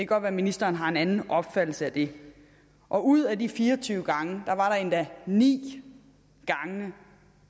godt være ministeren har en anden opfattelse af det og ud af de fire og tyve gange var der endda ni gange